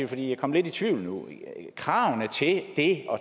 jeg kommer lidt i tvivl nu er kravene til det at